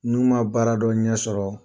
N'u ma baara dɔ ɲɛ sɔrɔ